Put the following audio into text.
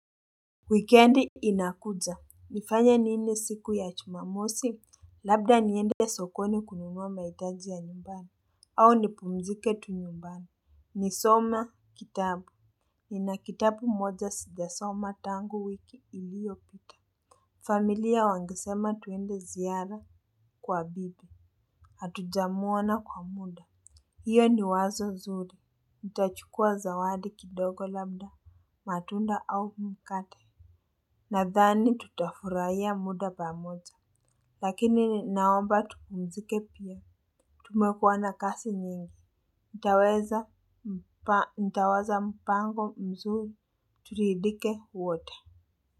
Wikendi inakuja, nifanye nini siku ya jumamosi? Labda niende sokoni kununua mahitaji ya nyumbani, au nipumzike tu nyumbani. Nisome kitabu, nina kitabu moja sijasoma tangu wiki iliyopita. Familia wangesema tuende ziara kwa bibi, hatujamuona kwa muda. Hiyo ni wazo zuri, nitachukua zawadi kidogo labda, matunda au mkate. Nadhani tutafurahia muda pamoja. Lakini naomba tupumzike pia. Tumekuwa na kazi nyingi. Ntaweza mpango mzuri. Turidhike wote.